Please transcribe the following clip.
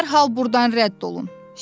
Dərhal burdan rədd olun!